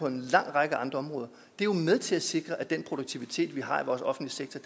en lang række andre områder er med til at sikre at den produktivitet vi har i vores offentlige sektor